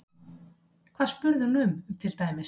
Hvað spurði hún um til dæmis?